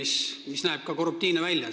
See näeb ka korruptiivne välja.